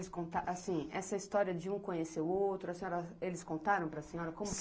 esse conta. Assim, essa história de um conhecer o outro, a senhora, eles contaram para a senhora como